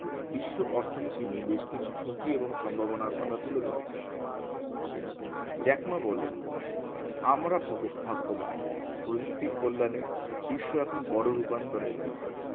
বিশ্ব অর্থনীতি নিয়ে বেশ কিছু যোগী এবং সম্ভাবনার কথা তুলে ধরেছেন জ্যাকমা বলেন আমরা ভগো~ভাগ্যবান প্রযুক্তির কল্যানে বিশ্ব এখন বোরো রূপান্তরের পথে